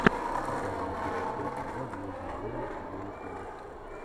показывай эпизод тридцать два звездные войны войны клонов